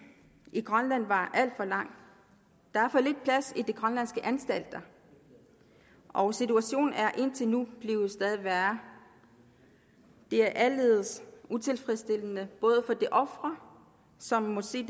i grønland var alt for lang der er for lidt plads i de grønlandske anstalter og situationen er indtil nu blevet stadig værre det er aldeles utilfredsstillende både for de ofre som må se